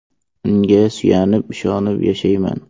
Unga suyanib, ishonib yashayman.